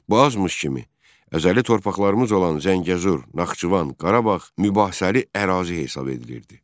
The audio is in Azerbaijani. Bu azmış kimi, əzəli torpaqlarımız olan Zəngəzur, Naxçıvan, Qarabağ mübahisəli ərazi hesab edilirdi.